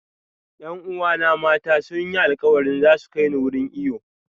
Yan uwana mata sun yi alkawari za su kai ni wurin iyo.